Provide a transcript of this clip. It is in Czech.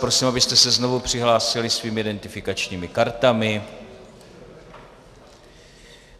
Prosím, abyste se znovu přihlásili svými identifikačního kartami.